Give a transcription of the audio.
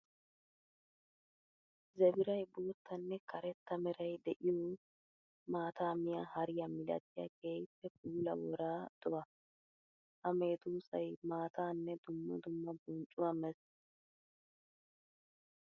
Zebiray boottanne karetta meray de'iyo maata miya hariya milattiya keehippe puula wora do'a. Ha medosay maatanne dumma dumma bonccuwa meesi